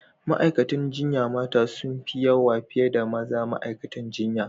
Ma'aikatan jinya mata sun fi yawa fiye da mazan ma'aikatan jinya.